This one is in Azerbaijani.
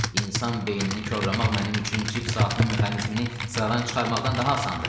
İnsan beynini korlamaq mənim üçün cip saatının mexanizmini sıradan çıxarmaqdan daha asandır.